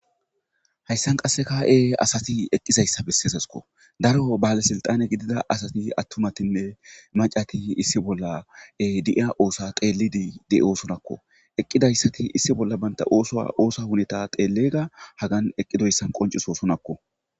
hayssan qassekae asati eqqizayssa besseesasko daro baalesilxane gidida asati attumatinne macati issi bollae di'ya oosa xeelidi de'oosonakko eqqidayssati issi bolla banta ooso oosa huneta xeellega hagan eqqidoyssan qoncisosonakko